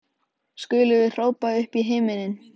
skulum við hrópa upp í himininn.